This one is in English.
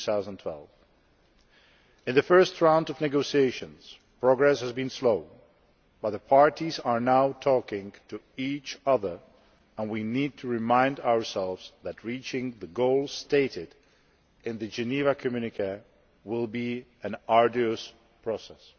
2012. Progress in the first round of negotiations has been slow, but the parties are now talking to each other, and we need to remind ourselves that reaching the goals stated in the Geneva Communiqué will be an arduous process.